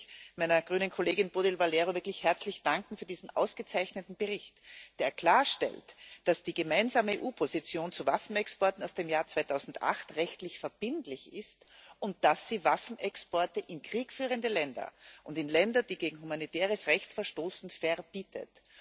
Und da möchte ich meiner grünen Kollegin Bodil Valero wirklich für diesen ausgezeichneten Bericht herzlich danken, der klarstellt, dass die gemeinsame EU Position zu Waffenexporten aus dem Jahr 2008 rechtlich verbindlich ist, und dass sie Waffenexporte in kriegführende Länder und in Länder, die gegen humanitäres Recht verstoßen, verbietet.